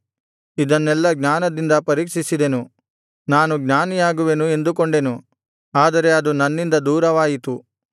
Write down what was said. ಇದನ್ನೆಲ್ಲಾ ಜ್ಞಾನದಿಂದ ಪರೀಕ್ಷಿಸಿದೆನು ನಾನು ಜ್ಞಾನಿಯಾಗುವೆನು ಎಂದುಕೊಂಡೆನು ಆದರೆ ಅದು ನನ್ನಿಂದ ದೂರವಾಯಿತು